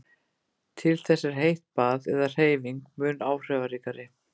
Til þess er heitt bað eða hreyfing mun áhrifaríkari.